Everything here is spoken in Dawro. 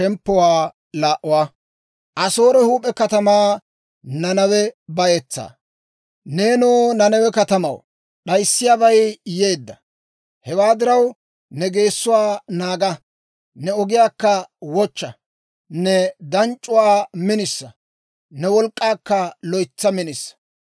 Neenoo Nanawe katamaw, d'ayssiyaabay yeedda! Hewaa diraw, ne geessuwaa naaga; ne ogiyaakka wochcha; ne danc'c'uwaa minisa; ne wolk'k'aakka loytsa minisa.